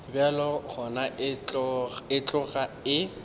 bjalo gona e tloga e